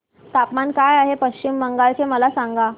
तापमान काय आहे पश्चिम बंगाल चे मला सांगा